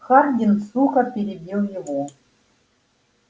хардин сухо перебил его